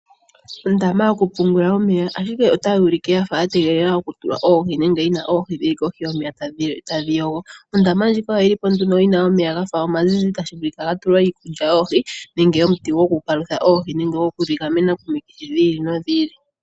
Ondama yokupungula omeya ashike otayi ulike yafa yategelela okutulwa oohi nenge yina oohi dhi kohinyomeya tadhi yogo. Ondama ndjika oyili po yina omeya omazizi tashi vulika gatulwa iikulya yoohi nenge omuti goku palutha oohi nenge goku gamena oohi komikithi dhi ili nodhi ili.